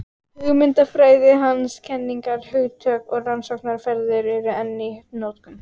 Hugmyndafræði hans, kenningar, hugtök og rannsóknaraðferðir eru enn í notkun.